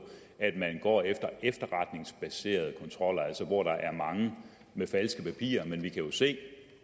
at man går efter efterretningsbaserede kontroller altså hvor der er mange med falske papirer men vi kan jo se